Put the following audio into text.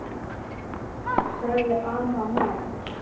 sagði amma mædd.